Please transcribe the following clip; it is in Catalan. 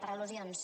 per al·lusions